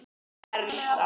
Bara vera.